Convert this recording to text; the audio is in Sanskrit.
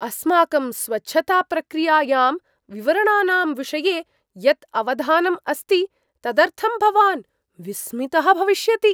अस्माकं स्वच्छताप्रक्रियायां विवरणानां विषये यत् अवधानम् अस्ति, तदर्थं भवान् विस्मितः भविष्यति।